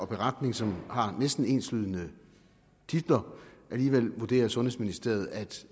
beretning som har næsten enslydende titler alligevel vurderer sundhedsministeriet at